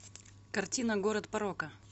картина город порока